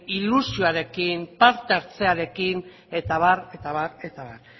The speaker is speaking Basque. ilusioarekin parte hartzearekin eta abar eta abar eta abar